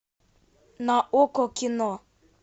на окко кино